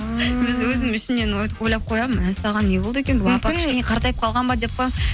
ааа өзім ішімнен ойлап қоямын мәссаған не болды екен бұл апа кішкене қартайып қалған ба деп қоямын